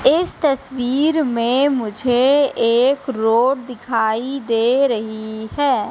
इस तस्वीर में मुझे एक रोड दिखाई दे रही है।